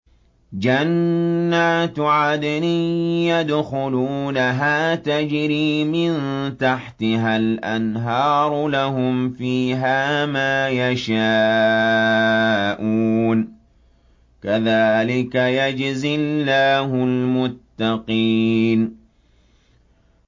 جَنَّاتُ عَدْنٍ يَدْخُلُونَهَا تَجْرِي مِن تَحْتِهَا الْأَنْهَارُ ۖ لَهُمْ فِيهَا مَا يَشَاءُونَ ۚ كَذَٰلِكَ يَجْزِي اللَّهُ الْمُتَّقِينَ